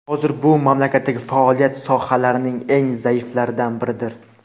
hozir bu mamlakatdagi faoliyat sohalarining eng zaiflaridan biridir.